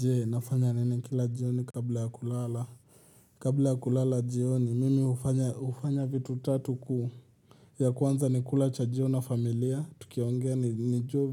Je nafanya nini kila jioni kabla ya kulala Kabla ya kulala jioni mimi hufanya vitu tatu ku ya kwanza nikula cha jioni na familia tukiongea nijuwe